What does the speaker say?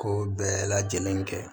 Ko bɛɛ lajɛlen kɛ